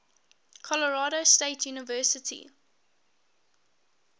colorado state university